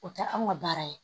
O tɛ anw ka baara ye